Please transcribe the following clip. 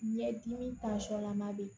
Ɲɛdimi tansɔn lama bɛ yen